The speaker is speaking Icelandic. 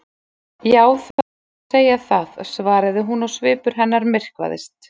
Já, það má segja það- svaraði hún og svipur hennar myrkvaðist.